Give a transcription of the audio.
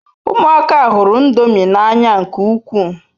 Umuaka huru ndomi n'anya nke ukwu